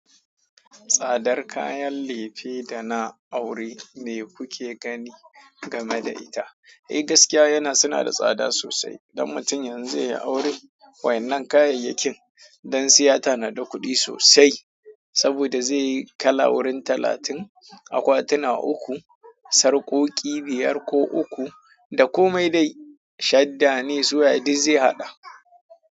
Tsadar kayan lefe da na aure me kuke gani game da ita? Eh gaskiya yana suna da tsada sosai. Dan mutum yanzu zai yi aure wa'yannan kayayyakin dan sai ya tanada kuɗi sosai. Saboda zai yi kala wurin talatin, akwatuna uku, sarƙoƙi biyar ko uku, da komai dai shadda ne su waye duk zai haɗa.